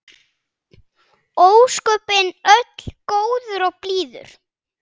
Ósköpin öll góður og blíður.